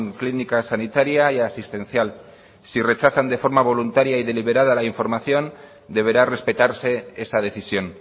clínica sanitaria y asistencial si rechazan de forma voluntaria y deliberada la información deberá respetarse esa decisión